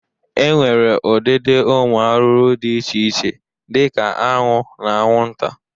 E nwere ụdịdị ụmụ arụrụ dị iche iche dị ka aṅụ na aṅwụnta.